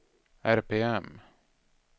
RPM